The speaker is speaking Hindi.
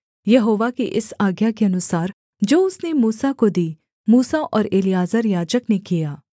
यहोवा की इस आज्ञा के अनुसार जो उसने मूसा को दी मूसा और एलीआजर याजक ने किया